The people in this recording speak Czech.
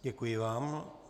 Děkuji vám.